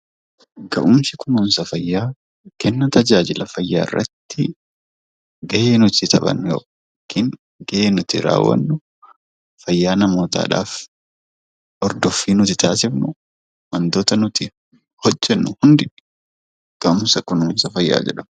Ga'umsi kunuunsa fayyaa kenna tajaajila fayyaa irratti ga'ee nuti taphannu yookiin ga'ee nuti raawwannu fayyaa namootaadhaaf ordoffii nuti taasifnu wantoota nuti hojjennu hundi ga'umsa kunuunsa fayyaa jedhamu.